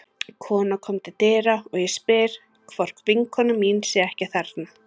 Kona kom til dyra og ég spyr hvort vinkona mín sé ekki þarna.